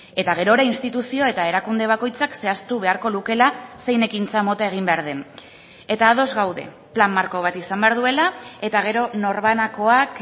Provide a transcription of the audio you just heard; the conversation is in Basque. eta gerora instituzio eta erakunde bakoitzak zehaztu beharko lukeela zein ekintza mota egin behar den eta ados gaude plan marko bat izan behar duela eta gero norbanakoak